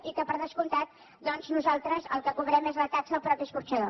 i que per descomptat doncs nosaltres el que cobrem és la taxa al mateix escorxador